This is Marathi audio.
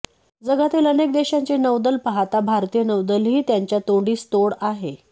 जगातील अनेक देशांची नौदलं पाहता भारतीय नौदलही त्यांच्या तोड़ीस तोड आहे